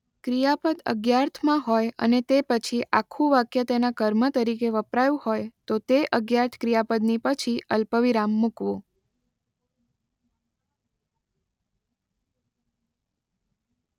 ક્રિયાપદ અજ્ઞાર્થમાં હોય અને તે પછી આખું વાક્ય તેના કર્મ તરીકે વપરાયું હોય તો તે અજ્ઞાર્થ ક્રિયાપદની પછી અલ્પવિરામ મૂકવું.